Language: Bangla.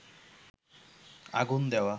আগুন দেওয়া